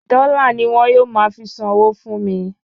Dọ́là ni wọ́n yóò máa fi san owó fún mi